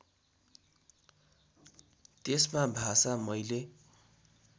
त्यसमा भाषा मैले